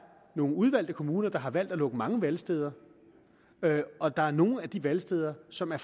nogle udvalgte kommuner der har valgt at lukke mange valgsteder der er nogle valgsteder som er